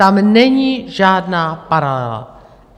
Tam není žádná paralela!